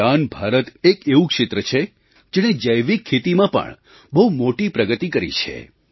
ઈશાન ભારત એક એવું ક્ષેત્ર છે જેણે જૈવિક ખેતીમાં પણ બહુ મોટી પ્રગતિ કરી છે